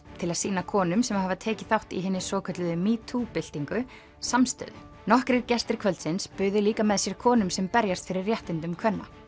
til að sýna konum sem hafa tekið þátt í hinni svokölluðu metoo byltingu samstöðu nokkrir gestir kvöldsins buðu líka með sér konum sem berjast fyrir réttindum kvenna